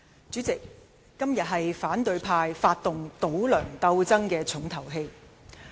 主席，今天是反對派發動"倒梁"鬥爭的重頭戲。